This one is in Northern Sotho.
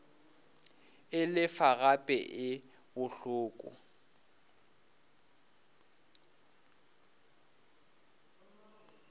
e lefa gape e bohloko